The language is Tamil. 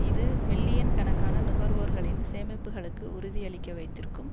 இது மில்லியன் கணக்கான நுகர்வோர்களின் சேமிப்புக்களுக்கு உறுதியளிக்க வைத்திருக்கும்